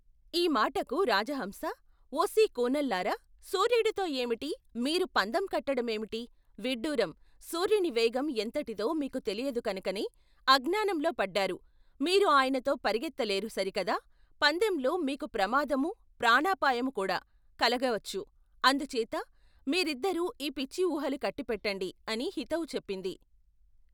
ఈ మాటకు రాజహంస ఓసీ కూనల్లారా సూర్యుడితో యేమిటి మీరు పందెం కట్టడమేమిటి విడ్డూరం సూర్యుని వేగం ఎంతటిదో మీకు తెలియదు కనుకనే అజ్ఞానంలో పడ్డారు మీరు ఆయనతో పరుగెత్తలేరు సరికదా పందెంలో మీకు ప్రమాదమూ ప్రాణాపాయమూ కూడా కలగవచ్చు అందుచేత మీరిద్దరు ఈ పిచ్చి ఊహలు కట్టిపెట్టండి అని హితవు చెప్పింది.